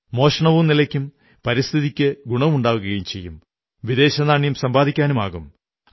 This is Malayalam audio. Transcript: മോഷണവും നിലയ്ക്കും പരിസ്ഥിതിക്കും ഗുണമുണ്ടാകും വിദേശനാണ്യം സമ്പാദിക്കാനുമാകും